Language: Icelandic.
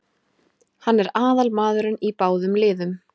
Hann er aðalmaðurinn í báðum liðum.